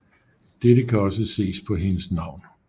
Dette kan også ses på hendes navn